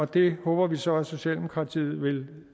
det håber vi så at socialdemokratiet vil